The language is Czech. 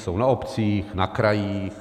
Jsou na obcích, na krajích.